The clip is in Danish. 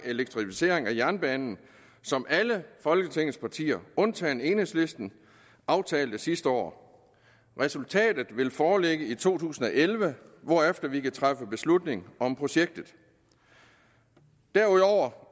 elektrificeringen af jernbanen som alle folketingets partier undtagen enhedslisten aftalte sidste år resultatet vil foreligge i to tusind og elleve hvorefter vi kan træffe beslutning om projektet derudover